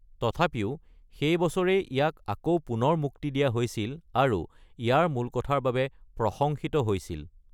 তথাপিও, সেই বছৰেই ইয়াক আকৌ পুনৰ মুক্তি দিয়া হৈছিল আৰু ইয়াৰ মূলকথাৰ বাবে প্ৰশংসিত হৈছিল।